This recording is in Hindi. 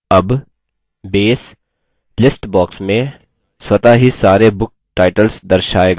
अब base list box में स्वतः ही सारे book titles दर्शाएगा